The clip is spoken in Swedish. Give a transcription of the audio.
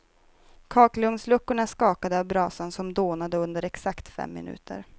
Kakelugnsluckorna skakade av brasan som dånade under exakt fem minuter.